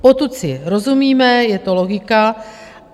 Potud si rozumíme, je to logika.